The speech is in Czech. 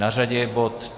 Na řadě je bod